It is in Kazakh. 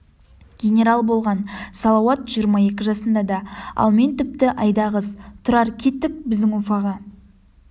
генерал болған салауат жиырма екі жасында да ал мен тіпті айдағыз тұрар кеттік біздің уфаға